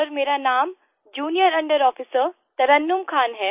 sir मेरा नाम junior under Officerतरन्नुम खान है